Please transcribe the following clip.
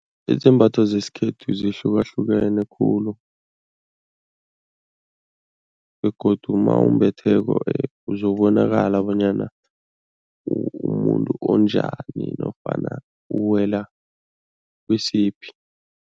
Izembatho zesikhethu zihlukahlukene khulu begodu mawumbetheko uzobonakala bonyana umumuntu onjani nofana uwela kisiphi.